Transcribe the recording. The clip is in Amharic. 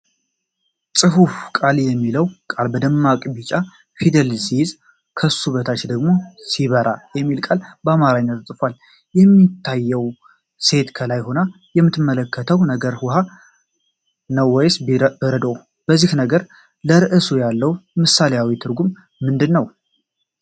ጽሁፉ “ቃል” የሚለውን ቃል በደማቅ ቢጫ ፊደል ሲይዝ፣ ከሱ በታች ደግሞ “ሲበራ” የሚል ቃል በአማርኛ ተጽፏል። የሚታየው ሴት ከላይ ሆና የምትመለከተው ነገር ውሃ ነው ወይስ በረዶ? የዚህ ነገር ለርዕሱ ያለው ምሳሌያዊ ትርጉም ምንድን ነው?